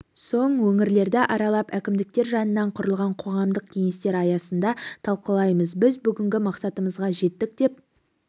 соң өңірлерді аралап әкімдіктер жанынан құрылған қоғамдық кеңестер аясында талқылаймыз біз бүгінгі мақсатымызға жеттік деп